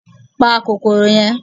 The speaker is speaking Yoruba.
Pa kòkòrò yẹn